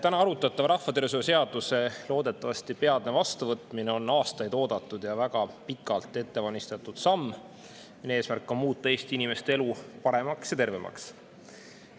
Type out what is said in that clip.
Täna arutusel oleva rahvatervishoiu seaduse loodetavasti peatne vastuvõtmine on aastaid oodatud ja väga pikalt ette valmistatud samm, mille eesmärk on muuta Eesti inimeste elu paremaks ja tervemaks.